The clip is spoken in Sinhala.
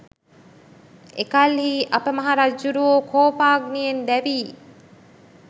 එකල්හි අප මහ රජ්ජුරුවෝ කෝපාග්නියෙන් දැවී